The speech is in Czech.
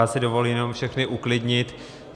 Já si dovolím jenom všechny uklidnit.